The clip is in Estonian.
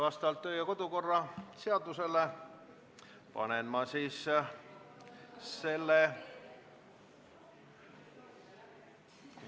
Vastavalt kodu- ja töökorra seadusele panen ma selle ...